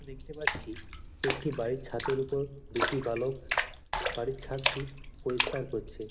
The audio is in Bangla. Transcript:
দেখতে পাচ্ছি একটি বাড়ির ছাদের উপর দুটি বালক বাড়ির ছাদটি পরিষ্কার করছে।